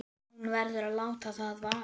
Hún verður að láta það vaða.